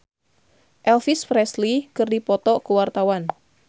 Isyana Sarasvati jeung Elvis Presley keur dipoto ku wartawan